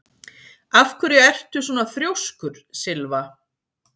Af hverju ertu svona þrjóskur, Sylva?